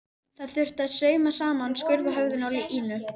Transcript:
Það þurfti að sauma saman skurð á höfðinu á Ínu.